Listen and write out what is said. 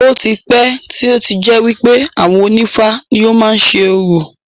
Ó ti pẹ́ tí ó ti jẹ́ wípé àwọn onífá ni ó má ń ṣe orò.